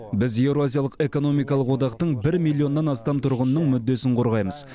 біз еуразиялық экономикалық одақтың бір миллионнан астам тұрғынының мүддесін қорғаймыз